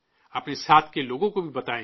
اپنے ساتھ کے لوگوں کو بھی بتائیں